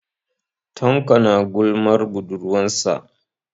Tanko is gossipping about his girlfriend.